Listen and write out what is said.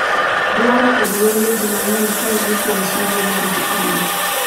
dwaro kod wenge jii mang'eny kae ni kuom sulwe margi Ali